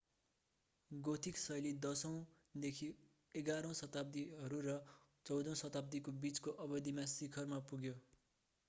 Gothic शैली 10 औं - 11 औं शताब्दीहरू र 14 औं शताब्दीको बीचको अवधिमा शिखरमा पुग्यो